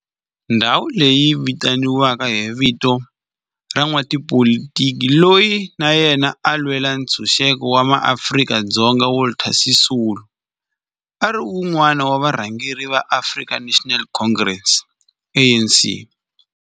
Ndhawo leyi yi vitaniwa hi vito ra n'watipolitiki loyi na yena a lwela ntshuxeko wa maAfrika-Dzonga Walter Sisulu, a ri wun'wana wa varhangeri va African National Congress, ANC.